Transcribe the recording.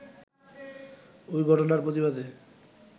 ওই ঘটনার প্রতিবাদে